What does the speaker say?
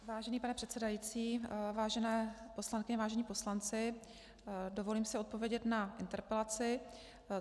Vážený pane předsedající, vážené poslankyně, vážení poslanci, dovolím si odpovědět na interpelaci.